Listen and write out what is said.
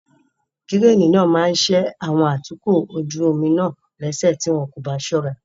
Kíréènì náà maa ṣe àwọn atukọ̀ ojú omi náà léṣe tí wọn kò bá ṣọ́ra.